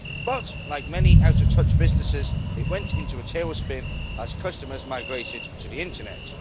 But like many out of touch businesses, it went into a tailspin as customers migrated to the Internet.